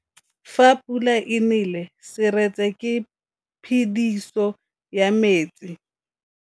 Fa pula e nelê serêtsê ke phêdisô ya metsi.